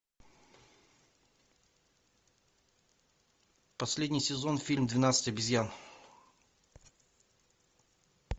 последний сезон фильм двенадцать обезьян